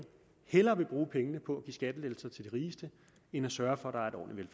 hellere vil bruge pengene på at give skattelettelser til de rigeste end at sørge for